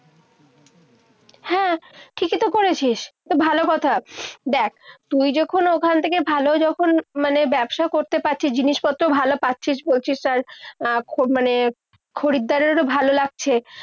হ্যাঁ, ঠিকই তো করেছিস। তা ভালো কথা। দেখ, তুই যখন ওখান থেকে ভালো যখন মানে ব্যবসা করতে পারছিস, জিনিসপত্র ভালো পাচ্ছিস। মানে খরিদ্দারেরও তো ভালো লাগছে।